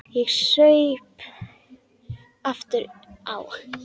Ég saup aftur á.